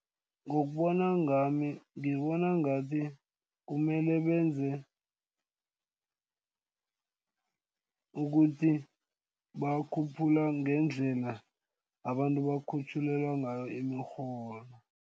Ngokubona ngami ngibona ngathi kumele benze ukuthi, bawakhuphula ngendlela abantu bakhutjhulelwa ngayo imirholo.